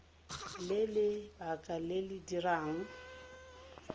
le lebaka le le dirang